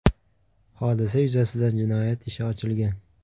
Hodisa yuzasidan jinoyat ishi ochilgan.